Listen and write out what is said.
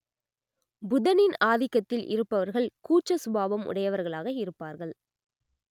புதனின் ஆதிக்கத்தில் இருப்பவர்கள் கூச்ச சுபாவம் உடையவர்களாக இருப்பார்கள்